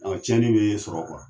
Ɔn tiɲɛnin b'e sɔrɔ